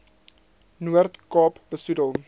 noord kaap besoedel